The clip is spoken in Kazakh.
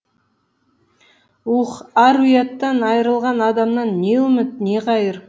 уһ ар ұяттан айрылған адамнан не үміт не қайыр